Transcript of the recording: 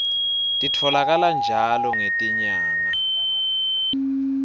titfolakala njalo ngetinyanga